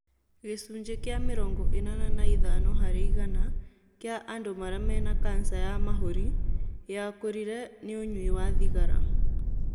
Gĩcunjĩ kĩa mĩrongo ĩnana na ithano harĩ igana kĩa andũ arĩa mena kansa ya mahũri yakũrire ni ũnyui wa thigara.